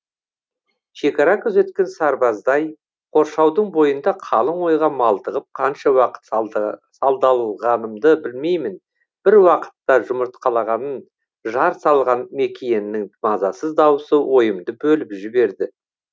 шекара күзеткен сарбаздай қоршаудың бойында қалың ойға малтығып қанша уақыт сандалғанымды білмеймін бір уақытта жұмыртқалағанын жар салған мекиеннің мазасыз дауысы ойымды бөліп жіберді